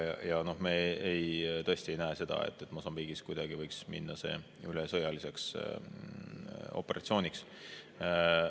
Ja me tõesti ei näe seda, et Mosambiigis võiks see kuidagi minna üle sõjaliseks operatsiooniks.